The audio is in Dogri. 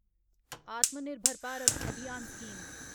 आत्मा निर्भर भारत अभियान स्कीम